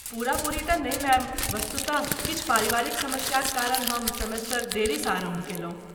पूरा पूरी तँ नहि मैम। वस्तुतः, किछु पारिवारिक समस्याक कारण हम सेमेस्टर देरीसँ आरम्भ कयलहुँ।